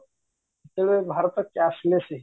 ଯେତେବେଳେ ଭାରତ cashless ହେଇଯିବ